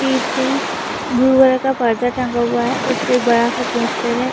पीछे blue colour का पर्दा टंगा हुआ है। उस पे बड़ा सा पोस्टर है।